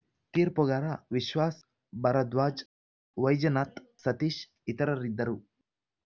ತೀರ್ಪುಗಾರ ವಿಶ್ವಾಸ್‌ ಭರದ್ವಾಜ್‌ ವೈಜನಾಥ್‌ ಸತೀಶ್‌ ಇತರರಿದ್ದರು